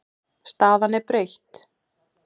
Staðan er breytt.